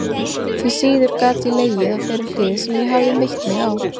Því síður gat ég legið á þeirri hlið sem ég hafði meitt mig á.